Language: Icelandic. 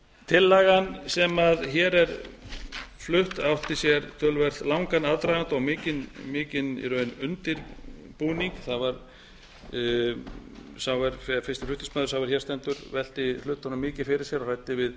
tillagan sem hér er flutt átti sér töluvert langan aðdraganda og mikinn í raun undirbúning það var fyrsti flutningsmaður sá er hér stendur velti hlutunum mikið fyrir sér og ræddi við